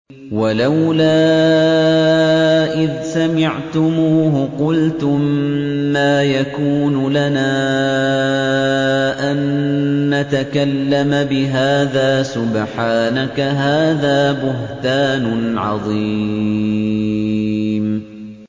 وَلَوْلَا إِذْ سَمِعْتُمُوهُ قُلْتُم مَّا يَكُونُ لَنَا أَن نَّتَكَلَّمَ بِهَٰذَا سُبْحَانَكَ هَٰذَا بُهْتَانٌ عَظِيمٌ